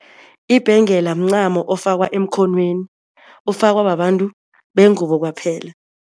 Ibhengela mncamo ofakwa emkhonweni, ofakwa babantu bengubo kwaphela.